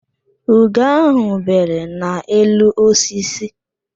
Ugo ahụ bere n'elu osisi